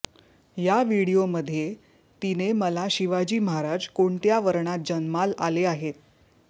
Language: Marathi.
या व्हिडीओमध्ये तिने मला शिवाजी महाराज कोणत्या वर्णात जन्माल आले आहेत